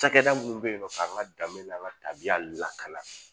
Cakɛda mun be yen nɔ k'an ka dan n'an ka tabiya la ka na